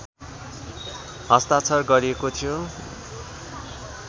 हस्ताक्षर गरिएको थिए